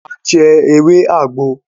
A jẹ ewé àgbo